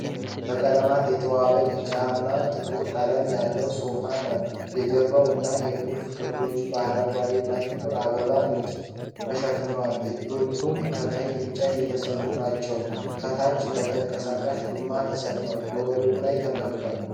በቀለማት የተዋበ ቢጫና ጥቁር ቀለም ያለው ሶፋ ነው። የጀርባው እና የቁልፍ ክፍሎቹ በአረንጓዴ እና ጥቁር አበባ ንድፍ ተሸፍነዋል፣ እጆቹም ከቀይ እንጨት የተሠሩ ናቸው። በታች በተንቀሳቃሽ ጎማዎች ተሰርቷል፣ ከወለል ላይ ተቀምጧል።